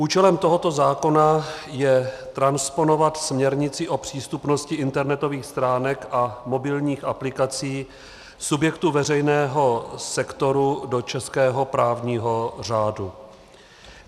Účelem tohoto zákona je transponovat směrnici o přístupnosti internetových stránek a mobilních aplikací subjektů veřejného sektoru do českého právního řádu.